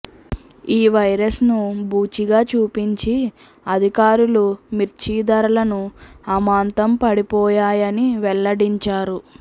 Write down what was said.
ఈ వైరస్ను భూచిగా చూపించి అధికారులు మిర్చి ధరలను అమాంతం పడిపోయాయని వెల్లడించారు